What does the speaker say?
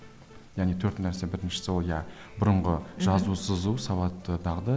яғни төрт нәрсе біріншісі ол иә бұрынғы жазу сызу сауатты дағды